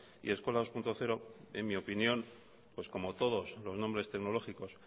y eskola dos punto cero en mi opinión pues como todos los nombres tecnológicos